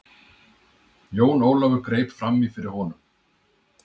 Jón Ólafur greip framí fyrir honum.